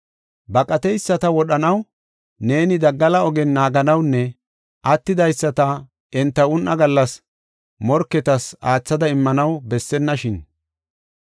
Baqateyisata wodhanaw neeni daggala ogen naaganawunne attidaysata enta un7aa gallas morketas aathada immanaw bessennashin!